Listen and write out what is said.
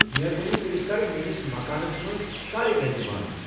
مہربٲنی کٔرِتھ کر میٲنس مکانس منز سارے لایٹہٕ بند ۔